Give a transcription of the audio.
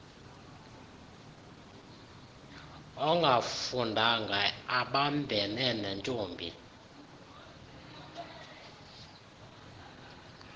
ongafundanga abambene nentombi